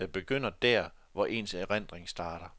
Den begynder der, hvor ens erindring starter.